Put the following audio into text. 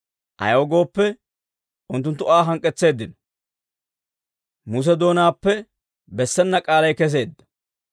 Ayaw gooppe, unttunttu Aa hank'k'etseeddino; Muse doonaappe bessena k'aalay keseedda.